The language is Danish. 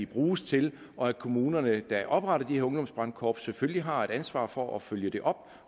bruges til og at kommunerne der opretter de her ungdomsbrandkorps selvfølgelig har ansvar for at følge det op